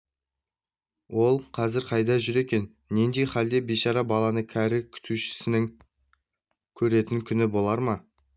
ол қазір қайда жүр екен нендей халде бейшара баланы кәрі күтушісінің көретін күні болар ма